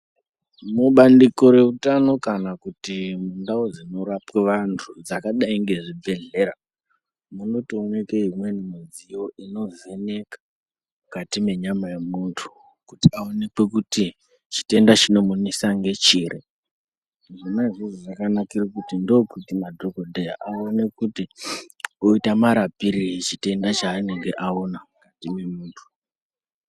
Mubandiko reutano kana kuti mundau dzinorapwe vantu dzakadai ngezvibhedhlera, munotooneke imweni midziyo inovheneka mukati menyama yemuntu kuti aonekwe kuti chitenda chinomunesa ngechiri. Zvona izvozvo zvakanakire kuti ndokuti madhogodheya aone kuti oita marapirei chitenda chaanonga aona chine muntu.